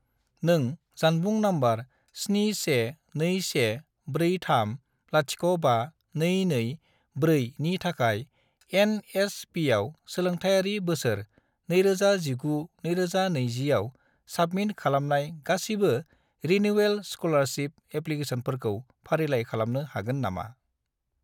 नों जानबुं नम्बर 71214305224 नि थाखाय एन.एस.पि.आव सोलोंथायारि बोसोर 2019 - 2020 आव साबमिट खालामनाय गासिबो रिनिउयेल स्क'लारशिप एप्लिकेसनफोरखौ फारिलाइ खालामनो हागोन नामा?